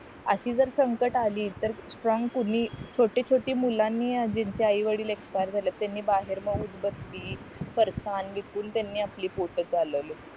अशी जर संकट आली तर स्ट्रॉंग कोणी मुलांनी ज्यांचे आई वडिला एक्सपायर त्यांनी बाहेर मग उदबत्ती विकून त्यांनी आपली पोट चालवली